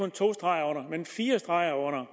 to streger men fire streger under